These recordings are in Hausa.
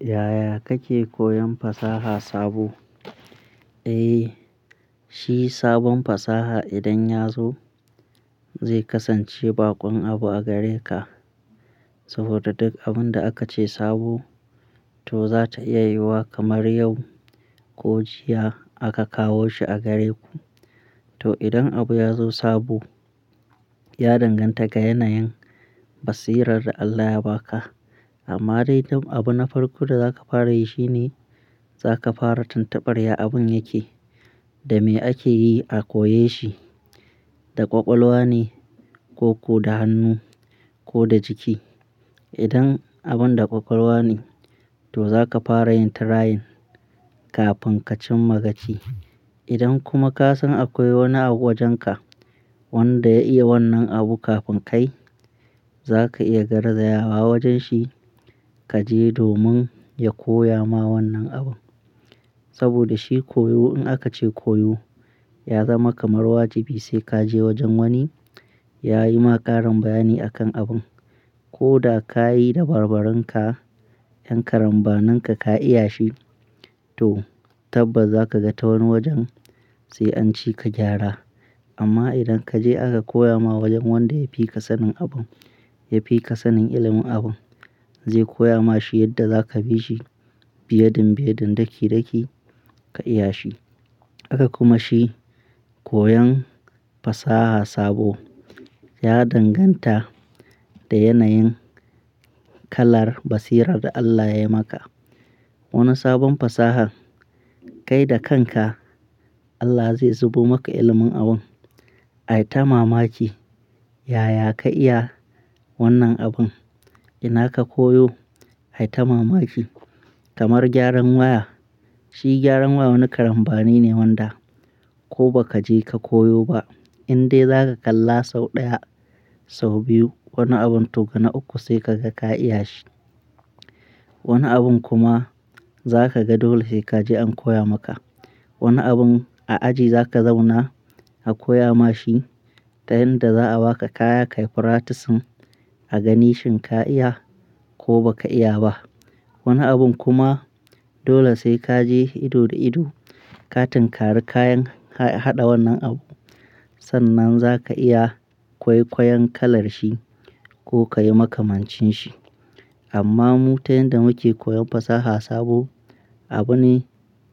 Yaya kake koyan fasaha sabo? Eh, shi sabon fasaha idan ya zo zai kasance baƙon abu a gare ka. Saboda duk abin da aka ce sabo to za ta iya yiwuwa kamar yau ko jiya aka kawo shi a gare ku. To idan abu ya zo sabo, ya danganta ga yanayin basirar da Allah ya ba ka. Amma dai dam abu na farko da za ka fara yi shine za ka fara tuntuɓarya abun yake, da me ake yi a koyashi, da ƙwaƙwalwa ne ko ku da hannu ko da jiki. Idan abun da ƙwaƙwalwa ne, to za ka fara yin trying kafin ka cimma gaci. Idan kuma ka san akwai wani abu wajen ka wanda ya iya wannan abu kafin kai, za ka iya garzaya wa wajen shi ka je domin ya koya ma wannan abu. Saboda shi koyo in aka ce koyo, ya zama kamar wajibi sai ka je wajen wani ya yi ma ƙarin bayani a kan abun. Ko da ka yi da barbarun ka, yan karambanin ka, ka iya shi to tabbas za ka ga ta wani wajen sai an ci ka gyara. Amma idan ka je aka koya ma wajen wanda ya fi ka sanin abun, ya fi ka sanin ilimin abun, zai koya ma shi yadda za ka bi shi, biyeɗin-ɓiyeɗin, ɗaki-ɗaki ka iya shi. Aka kuma shi koyan fasaha sabo ya danganta da yanayin kalar basirar da Allah yayi maka. Wani sabon fasahar kai da kan ka Allah zai zubo maka ilimin abun. Ai ta mamaki yaya ka iya wannan abun, ina ka koyo? Ai ta mamaki kamar gyaran waya. Shi gyaran waya wani karambani ne wanda ko ba ka je ka koyo ba, in dai za ka kalla sau ɗaya, sau biyu wani abun to ga na uku sai ka ga ka iya shi. Wani abun kuma za ka ga dole he ka je an koya maka. Wani abun a aji za ka zauna a koya ma shi ta yanda za a ba ka kaya ka yi practicing a ga nishin ka iya ko ba ka iya ba. Wani abun kuma dole sai ka je ido da ido ka tinkari kayan haɗa wannan abu. Sannan za ka iya ƙwaiƙwayen kalar shi ko ka yi makamancin shi. Amma mu ta yanda muke koyan fasaha sabo, abu ne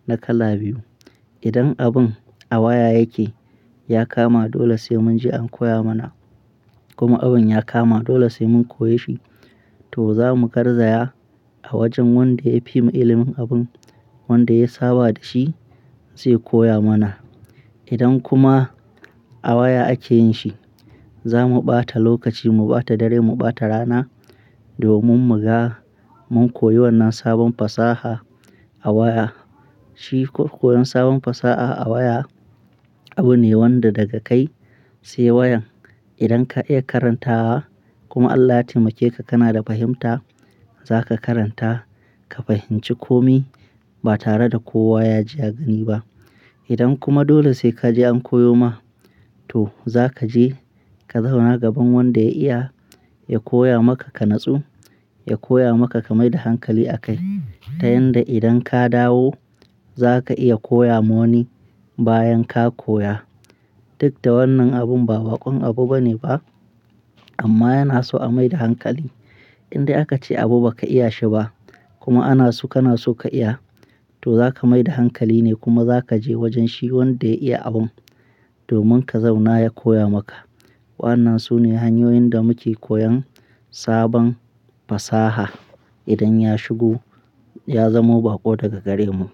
na kala biyu. Idan abun a waya yike, ya kama dole sai mun je an koya mana. Kuma abun ya kama dole sai mun koya shi to za mu garzaya a wajen wanda ya fi mu ilimin abun, wanda ya saba da shi, zai koya mana. Idan kuma a waya ake yin shi, za mu ɓata lokaci, mu ɓata dare, mu ɓata rana domin muga mun koyi wannan sabon fasaha a waya. Shi koyan sabon fasa'a a waya abu ne wanda daga kai sai wayan. Idan ka iya karantawa kuma Allah ya taimake ka, kana da fahimta, za ka karanta ka fahimci komi ba tare da kowa ya ji ya gani ba. Idan kuma dole sai ka je an koyo ma, to za ka je ka zauna gaban wanda ya iya ya koya maka ka natsu, ya koya maka ka mai da hankali a kai. Ta yanda idan ka dawo za ka iya koya ma wani bayan ka koya. Duk da wannan abun ba baƙon abu bane ba amma yana so a mai da hankali. In dai aka ce abu ba ka iya shi ba kuma ana so kana so ka iya, to za ka mai da hankali ne kuma za ka je wajen shi wanda ya iya abun domin ka zauna ya koya maka. Wannan su ne hanyoyin da muke koyan sabon fasaha idan ya shigo, ya zamo baƙo daga gare mu.